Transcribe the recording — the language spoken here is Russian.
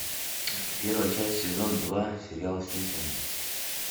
первая часть сезон два сериал симпсоны